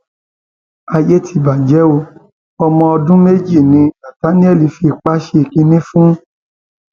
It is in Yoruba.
ayé ti bàjẹ o ọmọ ọdún méjì ni nathanielle fipá ṣe kínní fún